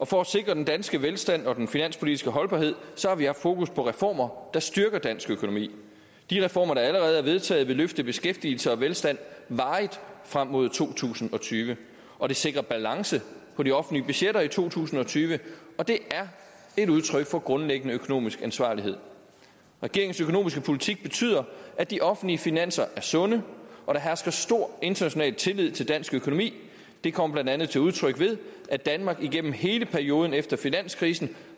for at sikre den danske velstand og den finanspolitiske holdbarhed har vi haft fokus på reformer der styrker dansk økonomi de reformer der allerede er vedtaget vil løfte beskæftigelse og velstand varigt frem mod to tusind og tyve og det sikrer balance på de offentlige budgetter i to tusind og tyve og det er et udtryk for grundlæggende økonomisk ansvarlighed regeringens økonomiske politik betyder at de offentlige finanser er sunde og der hersker stor international tillid til dansk økonomi det kommer blandt andet til udtryk ved at danmark igennem hele perioden efter finanskrisen